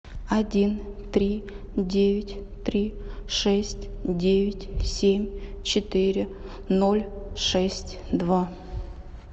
один три девять три шесть девять семь четыре ноль шесть два